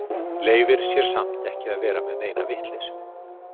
Leyfir sér samt ekki að vera með neina vitleysu.